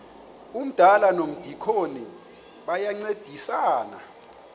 umdala nomdikoni bayancedisana